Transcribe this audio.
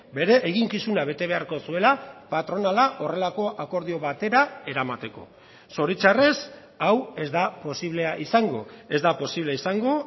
bere eginkizuna bete beharko zuela patronala horrelako akordio batera eramateko zoritzarrez hau ez da posiblea izango ez da posible izango